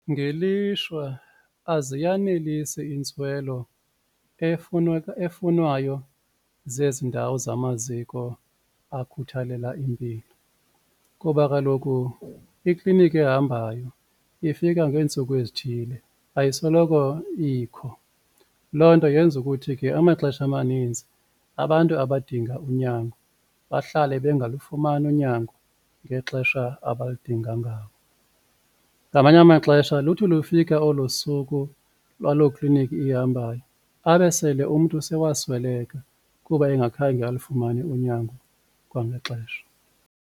Ngelishwa aziyanelisi intswelo efunwayo zezi ndawo zamaziko akhuthalela impilo kuba kaloku ikliniki ehambayo ifika ngeentsuku ezithile ayisoloko ikho, loo nto yenza ukuthi ke amaxesha amanintsi abantu abadinga unyango bahlale bengalufumani unyango ngexesha abalidinga ngawo. Ngamanye amaxesha luthi lufika olo suku lwalo kliniki ihambayo abe sele umntu sewasweleka kuba engakhange alufumane unyango kwangexesha.